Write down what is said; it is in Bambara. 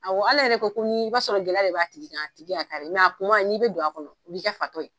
Ale yɛrɛ ko i b'a sɔrɔ gɛlɛya de b'a tigi kan, a tigi nka kuma n'i bi don a kɔnɔ, u b'i kɛ fatɔ ye.